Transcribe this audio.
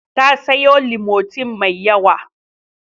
Ta sayo Limotin mai yawa.